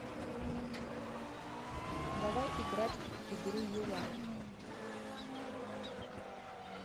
давай играть в игру юла